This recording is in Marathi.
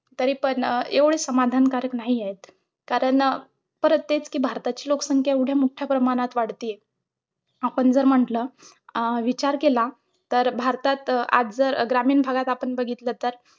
तरी पण एवढी समाधानकारक नाहीयेत कारण, परत तेच कि भारताची लोकसंख्या एवढ्या मोठ्या प्रमाणात वाढतीये आपण जर म्हंटल, अं विचार केला तर भारतात आज जर ग्रामीण भागात आपण बघितलं तर,